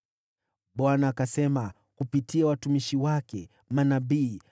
Bwana akasema kupitia watumishi wake manabii: